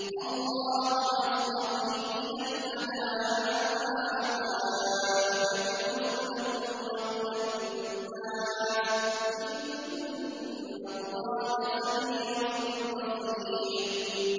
اللَّهُ يَصْطَفِي مِنَ الْمَلَائِكَةِ رُسُلًا وَمِنَ النَّاسِ ۚ إِنَّ اللَّهَ سَمِيعٌ بَصِيرٌ